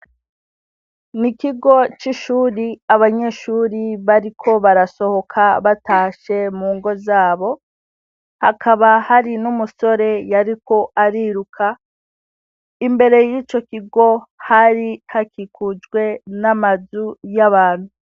Ni kigo c'ishure abanyeshure bariko barasohoka batashe mu ngo zabo, hakaba hari n'umusore yariko ariruka imbere y'ico kigo hari hakikujwe n'amazu y'abantu.